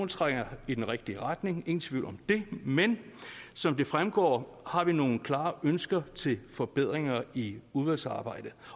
trækker i den rigtige retning ingen tvivl om det men som det fremgår har vi nogle klare ønsker til forbedringer i udvalgsarbejdet